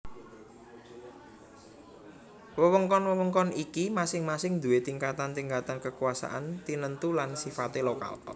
Wewengkon wewengkon iki masing masing duwé tingkatan tingkatan kekuasaan tinentu lan sifate lokal